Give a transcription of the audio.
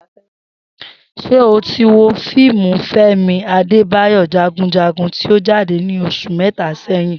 S̩e o ti wo fíìmù Fé̩mi Adébáyò̩ Jagunjagun tí ó jáde ní os̩ù mé̩ta sé̩yìn?